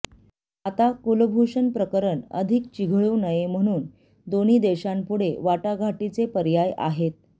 आता कुलभूषण प्रकरण अधिक चिघळू नये म्हणून दोन्ही देशांपुढे वाटाघाटीचे पर्याय आहेत